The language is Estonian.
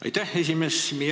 Aitäh, esimees!